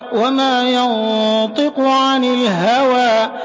وَمَا يَنطِقُ عَنِ الْهَوَىٰ